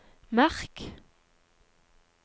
merk